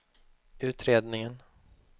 utredningen